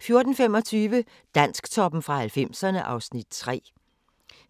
14:25: Dansktoppen fra 90'erne (Afs. 3)